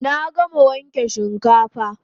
Na gama wanke shinkafa